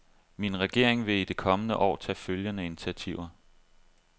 Min regering vil i det kommende år tage følgende initiativer.